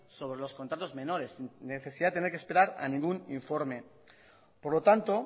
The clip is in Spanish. sobre los contratos menores sin necesidad de tener que esperar a ningún informe por lo tanto